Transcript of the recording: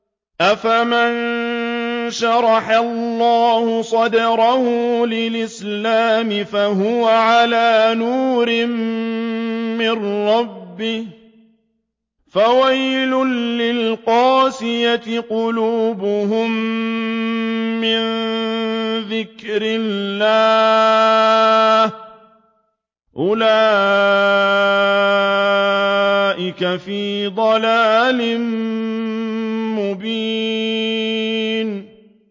أَفَمَن شَرَحَ اللَّهُ صَدْرَهُ لِلْإِسْلَامِ فَهُوَ عَلَىٰ نُورٍ مِّن رَّبِّهِ ۚ فَوَيْلٌ لِّلْقَاسِيَةِ قُلُوبُهُم مِّن ذِكْرِ اللَّهِ ۚ أُولَٰئِكَ فِي ضَلَالٍ مُّبِينٍ